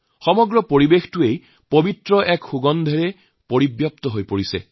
সমগ্ৰ পৰিৱেশ পবিত্ৰ সুগন্ধিৰে ভৰি পৰিছে